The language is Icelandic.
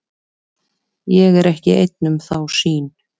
Ég er ekki einn um þá sýn.